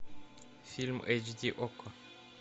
фильм эйч ди окко